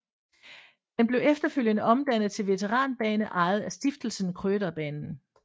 Den blev efterfølgende omdannet til veteranbane ejet af Stiftelsen Krøderbanen